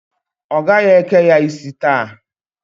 Ọ gaghị eke ya isi taa.